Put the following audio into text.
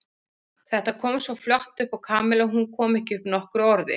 Össur var alveg búinn að steingleyma öllum göfugum fyrirætlunum sínum hvað varðaði mannkynið.